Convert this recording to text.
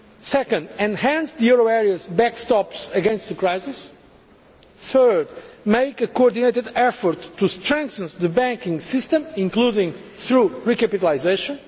second, enhance the euro area's backstops against the crisis third, make a coordinated effort to strengthen the banking system, including through recapitalisation